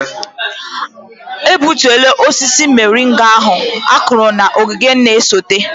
A gbutuola osisi moringa ahu kụrụ na ogige na-esote.